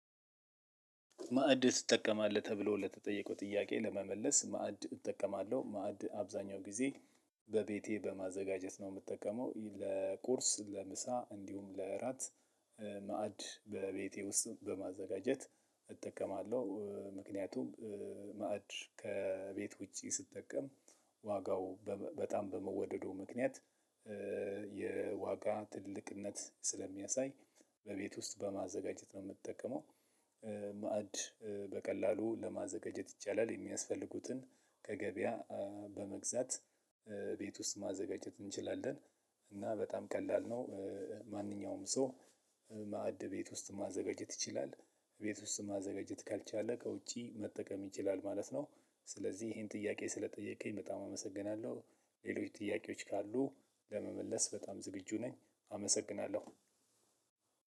ማዕድ ትጠቀማለህ? ተብሎ ለተጠየቀው ጥያቄ ለመመለስ ማዕድ እጠቀማለሁ ማዕድ አብዛኛው ጊዜ በቤቴ በማዘጋጀት ነው ምጠቀመው ይ ለቁርስ፣ ለምሳ እንዲሁም ለእራት እ ማዕድ በቤቴ ውስጥ በማዘጋጀት እጠቀማለው። እ ምክንያቱም እ ማዕድ ከቤት ውጪ ስትጠቀም ዋጋው በመ በጣም በመወደዱ ምክንያት እ የዋጋ ትልቅነት ስለሚያሳይ በቤት ውስጥ በማዘጋጀት ነው የምትጠቀመው። እ ማዕድ እ በቀላሉ ለማዘጋጀት ይቻላል። የሚያስፈልጉትን ከገበያ አ በመግዛት እ ቤት ውስጥ ማዘጋጀት እንችላለን እና በጣም ቀላል ነው። እ ማንኛውም ሰው እ ቤት ውስጥ ማዘጋጀት ይችላል። ቤት ውስጥ ማዘጋጀት ካልቻለ ከውጪ መጠቀም ይችላል ማለት ነው። ስለዚህ ይሄን ጥያቄ ስለጠየቀኝ በጣም አመሰግናለው። ሌሎች ጥያቄዎች ካሉ ለመመለስ በጣም ዝግጁ ነኝ አመሰግናለው።